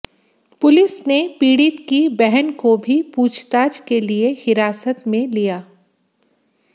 police ने पीड़ित की बहन को भी पूछताछ के लिए हिरासत में लिया